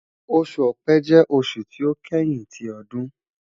Oṣu Ọ̀pẹ jẹ oṣu ti o kẹhin ti ọdun